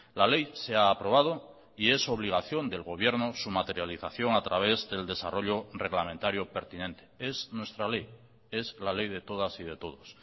la ley se ha aprobado y es obligación del gobierno su materialización a través del desarrollo reglamentario pertinente es nuestra ley es la ley de todas y de todos